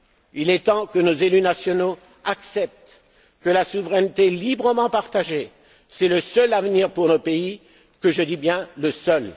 Il est temps que nos élus nationaux acceptent que la souveraineté librement partagée est le seul avenir pour nos pays, et je dis bien